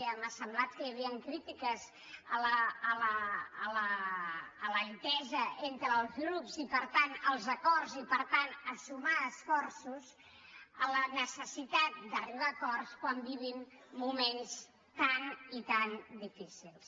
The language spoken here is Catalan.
m’ha semblat que hi havien críti·ques a l’entesa entre els grups i per tant als acords i per tant a sumar esforços a la necessitat d’arribar a acords quan vivim moments tan i tan difícils